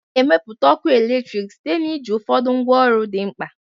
A na-emepụta ọkụ eletrik site na iji ụfọdụ ngwaọrụ dị mkpa